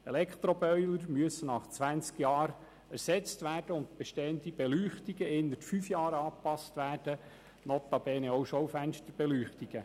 Elektroboiler müssen nach zwanzig Jahren ersetzt und bestehende Beleuchtungen innerhalb von fünf Jahren angepasst werden, notabene auch Schaufensterbeleuchtungen.